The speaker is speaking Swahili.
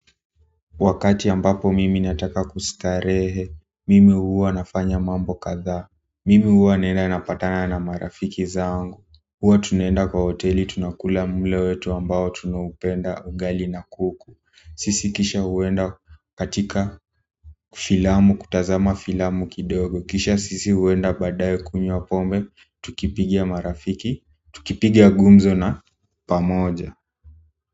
Wakati ambapo mimi nataka kustarehe mimi huwa nafanya mambo kadhaa mimi huwa naenda napatana na marafiki zangu huwa tunaenda kwa hoteli tunakula mlo wetu ambao tunaupenda ugali na kuku sisi kisha huenda katika filamu kutazama filamu kidogo kisha sisi huenda baadae kunywa pombe. Tukipigia marafiki tukipiga gumzo na pamoja.